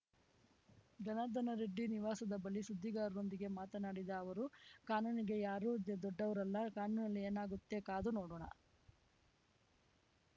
ಜನಾರ್ದನ ರೆಡ್ಡಿ ನಿವಾಸದ ಬಳಿ ಸುದ್ದಿಗಾರರೊಂದಿಗೆ ಮಾತನಾಡಿದ ಅವರು ಕಾನೂನಿಗೆ ಯಾರೂ ದೊಡ್ಡವರಲ್ಲ ಕಾನೂನಿನಲ್ಲಿ ಏನಾಗುತ್ತೆ ಕಾದು ನೋಡೋಣ